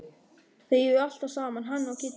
Þeir eru alltaf saman hann og Kiddi.